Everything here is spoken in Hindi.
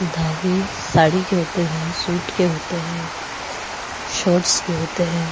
धागे साडी के होते हैं सूट के होते हैं शॉर्ट्स के होते हैं।